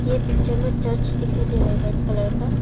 ये पिक्चर में चर्च दिखाई दे रहा है वाइट कलर का।